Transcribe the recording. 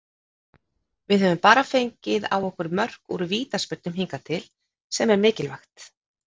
Við höfum bara fengið á okkur mörk úr vítaspyrnum hingað til, sem er mikilvægt.